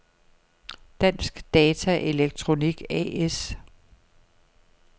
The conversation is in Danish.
Dansk Data Elektronik A/S